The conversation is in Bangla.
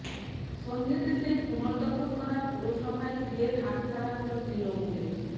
সন্ধ্যেতে সেই পুনর্দখল করা পুরসভাই ফের হাতছাড়া হল তৃণমূলের